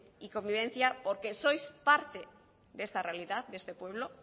y convivencia porque sois parte de esta realidad de este pueblo